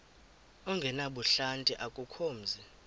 ongenabuhlanti akukho mzi